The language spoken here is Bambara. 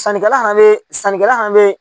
Sannikɛla han bɛ sannikɛla han bɛ